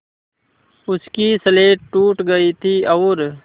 उसकी स्लेट टूट गई थी और